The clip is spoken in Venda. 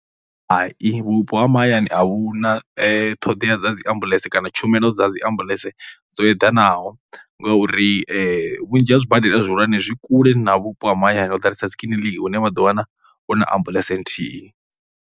Hai, vhupo ha mahayani a vhu na ṱhoḓea dza dzi ambuḽentse kana tshumelo dza dzi ambuḽentse dzo eḓanaho ngauri vhunzhi ha zwibadela zwihulwane zwi kule na vhupo ha mahayani ho ḓalesa dzi kiḽiniki hune vha ḓo wana hu na ambuḽentse nthihi.